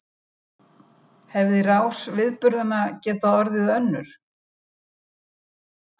Hefði rás viðburðanna getað orðið önnur?